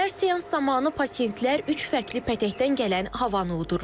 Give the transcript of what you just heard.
Hər seans zamanı pasientlər üç fərqli pətəkdən gələn havanı udurlar.